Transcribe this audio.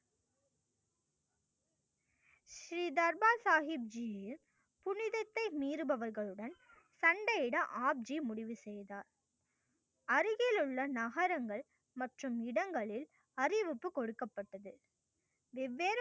ஸ்ரீ தர்பா ஷாகிப் ஜியின் புனிதத்தை மீறுபவர்களுடன் சண்டையிட ஆப் ஜி முடிவு செய்தார். அருகில் உள்ள நகரங்கள் மற்றும் இடங்களில் அறிவிப்பு கொடுக்கப்பட்டது வெவ்வேறு